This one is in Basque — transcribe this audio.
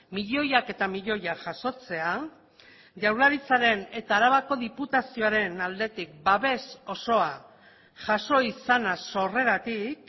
milioiak eta milioiak jasotzea jaurlaritzaren eta arabako diputazioaren aldetik babes osoajaso izana sorreratik